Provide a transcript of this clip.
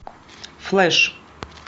флэш